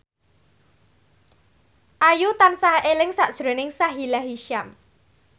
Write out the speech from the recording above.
Ayu tansah eling sakjroning Sahila Hisyam